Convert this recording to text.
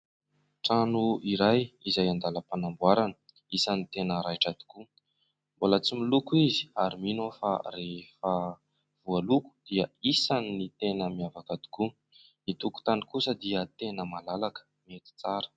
Trano iray izay an-dalam-panamboarana isan'ny tena raitra tokoa, mbola tsy miloko izy ary mino aho fa rehefa voaloko dia isan'ny tena miavaka tokoa. Ny tokotany kosa dia tena malalaka mety tsara.